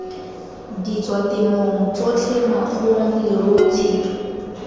ditswatemong tsotlhe makgong leruo tshipi